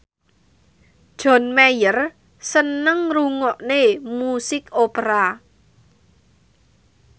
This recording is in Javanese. John Mayer seneng ngrungokne musik opera